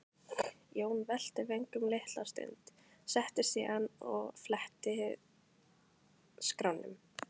Jón velti vöngum litla stund, settist síðan og fletti skránum.